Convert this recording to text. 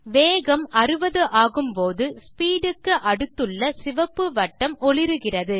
வேகம் 60 ஆகும்போது ஸ்பீட் க்கு அடுத்துள்ள சிவப்பு வட்டம் ஒளிருகிறது